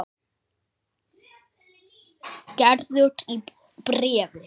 Gerður í bréfi.